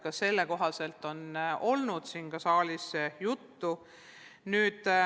Ka sellest on olnud siin saalis juttu.